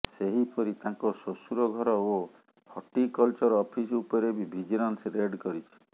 ସେହିପରି ତାଙ୍କ ଶ୍ୱଶୁର ଘର ଓ ହର୍ଟିକଲଚର ଅଫିସ ଉପରେ ବି ଭିଜିଲାନ୍ସ ରେଡ୍ କରିଛି